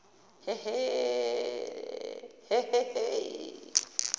he he he